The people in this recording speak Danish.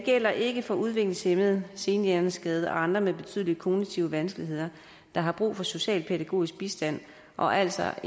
gælder ikke for udviklingshæmmede senhjerneskadede og andre med betydelige kognitive vanskeligheder der har brug for socialpædagogisk bistand og altså